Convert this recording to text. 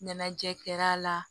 Ɲɛnajɛ kɛr'a la